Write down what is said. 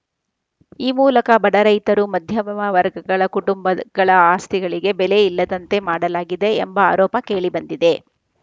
ಈ ಮೂಲಕ ಬಡ ರೈತರು ಮಧ್ಯಮವರ್ಗಗಳ ಕುಟುಂಬಗಳ ಆಸ್ತಿಗಳಿಗೆ ಬೆಲೆ ಇಲ್ಲದಂತೆ ಮಾಡಲಾಗಿದೆ ಎಂಬ ಆರೋಪ ಕೇಳಿ ಬಂದಿದೆ